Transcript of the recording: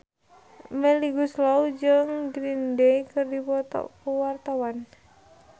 Melly Goeslaw jeung Green Day keur dipoto ku wartawan